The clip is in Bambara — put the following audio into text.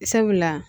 Sabula